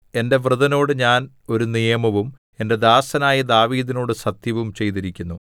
എന്റെ വൃതനോട് ഞാൻ ഒരു നിയമവും എന്റെ ദാസനായ ദാവീദിനോട് സത്യവും ചെയ്തിരിക്കുന്നു